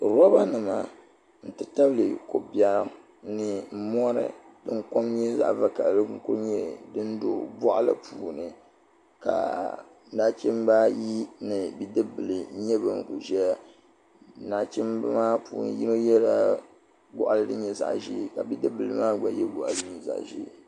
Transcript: Loba nima n ti tabili kobiɛɣu ni mori din nyɛ zaɣa vakahali n kuli nyɛ din do boɣali puuni ka nachimba ayi ni bidibila yini n nyɛ ban ʒɛya nachimba maa puuni yino yela goɣali din nyɛ zaɣa ʒee ka bidibila maagba ye goɣali zaɣa ʒee.